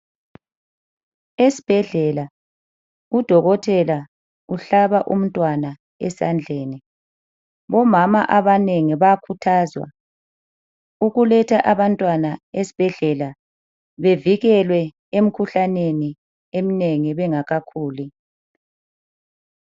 Esibhedlela udokotela uhlaba umntwana esandleni. Omama abanengi bayakhuthazwa ukuletha abantwana esibhedlela bevikelwe emikhuhlaneni eminengi bengakakhuli.